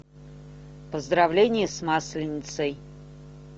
поздравления с масленицей